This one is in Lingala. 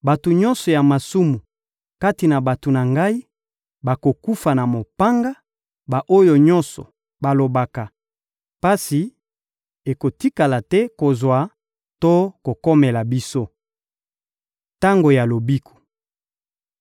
Bato nyonso ya masumu kati na bato na Ngai bakokufa na mopanga, ba-oyo nyonso balobaka: ‹Pasi ekotikala te kozwa to kokomela biso!› Tango ya lobiko